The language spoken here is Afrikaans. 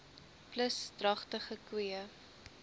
plus dragtige koeie